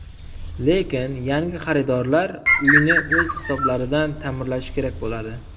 Lekin yangi xaridorlar uyni o‘z hisoblaridan ta’mirlashi kerak bo‘ladi.